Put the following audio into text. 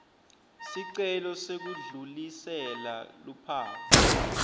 sicelo sekudlulisela luphawu